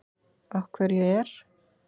Af hverju er